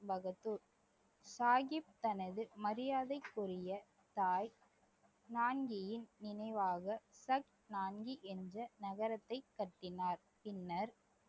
பகதூர் சாஹிப் தனது மரியாதைக்குரிய தாய் நான்கியின் நினைவாக என்று நகரத்தைக் கட்டினார் பின்னர்